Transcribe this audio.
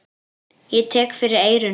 Ég tek fyrir eyrun.